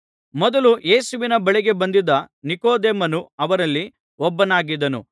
ಮೊದಲು ಯೇಸುವಿನ ಬಳಿಗೆ ಬಂದಿದ್ದ ನಿಕೊದೇಮನು ಅವರಲ್ಲಿ ಒಬ್ಬನಾಗಿದ್ದನು